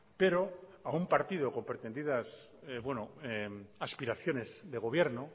pero a un partido con pretendidas aspiraciones de gobierno